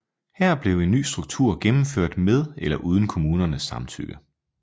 Her blev en ny struktur gennemført med eller uden kommunernes samtykke